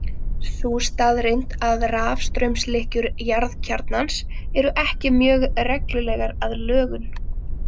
Sú staðreynd að rafstraumslykkjur jarðkjarnans eru ekki mjög reglulegar að lögun.